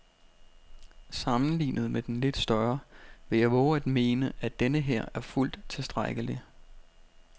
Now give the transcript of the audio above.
Sammenlignet med den lidt større vil jeg vove at mene, at denneher er fuldt tilstrækkelig.